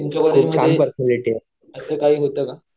तुमच्या कॉलेजमध्ये असं काही होतं का?